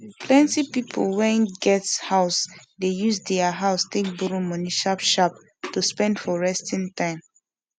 plenti pipu wen get house de use deir house take borrow moni sharp sharp to spend for restin time